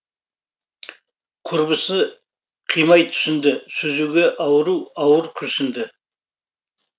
құрбысы қимай түсінді сүзге ару ауыр күрсінді